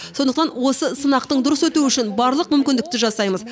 сондықтан осы сынақтың дұрыс өтуі үшін барлық мүмкіндікті жасаймыз